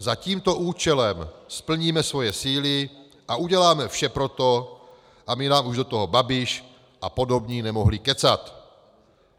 Za tímto účelem spojíme svoje síly a uděláme vše pro to, aby nám už do toho Babiš a podobní nemohli kecat.